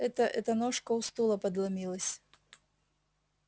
это это ножка у стула подломилась